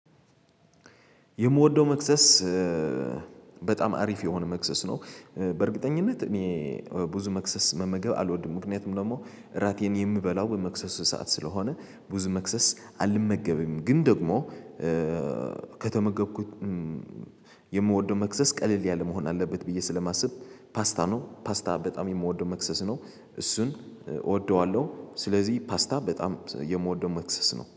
የምወደው መክሰስ በጣም አሪፍ የሆነ መክሰስ ነው። በእርግጠኝነት እኔ ብዙ መክሰስ መመገብ አልወድም። ምክንያቱም ደግሞ እራቴን የምበላው በመክሰስ ሰዓት ስለሆነ ብዙ መክሰስ አልመገብም። ግን ደግሞ ከተመገብኩት የምወደው መክሰስ ቀለል ያለ መሆን አለበት ብዬ ስለማስብ ፓስታ ነው ፓስታ በጣም የምወደው መክሰስ ነው። እሱን እወደዋለሁ ስለዚህ ፓስታ በጣም የምወደው መክሰስ ነው